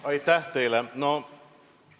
Aitäh teile!